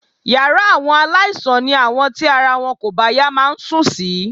Yàrá àwọn aláìsàn ni àwọn tí ara wọn kò bá yá máa ń sùn sí